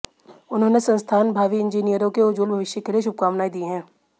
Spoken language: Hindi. उन्होंने संस्थान भावी इंजीनियरों के उज्ज्वल भविष्य के लिए शुभकामनाएं दीं हैं